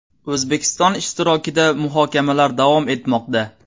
O‘zbekiston ishtirokida muhokamalar davom etmoqda.